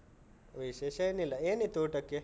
ವಿಶೇಷ ಏನಿಲ್ಲ. ಏನಿತ್ತು ಊಟಕ್ಕೆ?